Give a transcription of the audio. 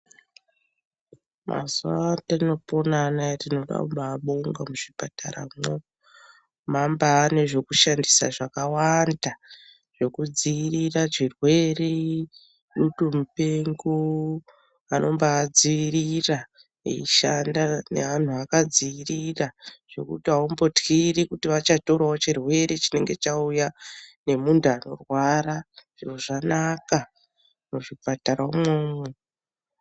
Mazuwa atinopona anaya tinoda kubabonga muzvipataramwo, mwambane zvekushandisa zvakawanda zvekudzivirira zvirwere, dutu mupengo vanombadziirira veishanda neanhu akadziirira zvekuti aumbotyiri kuti vachatorawo chirwere chinenge chauya nemuntu anorwara zviro zvakana muzvipatara umwomwo.